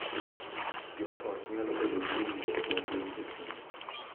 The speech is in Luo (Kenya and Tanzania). Jo ot nyalo bedo gi winjruok matut e chuny